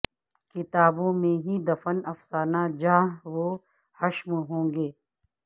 کتابوں میں ہی دفن افسانہ جاہ و حشم ہوں گے